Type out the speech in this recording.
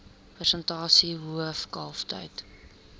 persentasie hoof kalftyd